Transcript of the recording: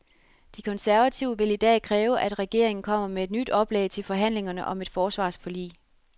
De konservative vil i dag kræve, at regeringen kommer med et nyt oplæg til forhandlingerne om et forsvarsforlig.